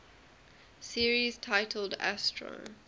series titled astro